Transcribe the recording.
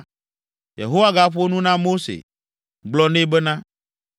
Yehowa gaƒo nu na Mose, gblɔ nɛ bena,